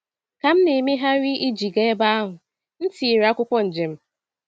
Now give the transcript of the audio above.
Ka m na-emegharị iji gaa ebe ahụ, m tinyere akwụkwọ njem.